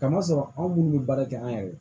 Kama sɔrɔ anw minnu bɛ baara kɛ an yɛrɛ ye